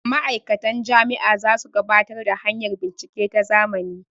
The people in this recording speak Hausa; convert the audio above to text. ma'aikatan Jami' a za su gabatar da hanyar bincike ta zamani